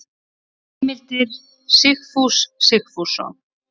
Heimildir Sigfús Sigfússon.